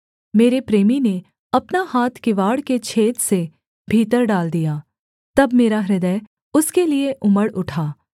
मेरे प्रेमी ने अपना हाथ किवाड़ के छेद से भीतर डाल दिया तब मेरा हृदय उसके लिये उमड़ उठा